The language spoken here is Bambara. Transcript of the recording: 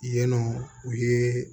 Yen nɔ u ye